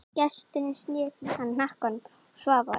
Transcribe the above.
Gesturinn sneri í hana hnakkanum og svaf vært.